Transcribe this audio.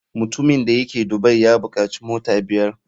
Mutumin da yake dubai ya bukaci mota biyar.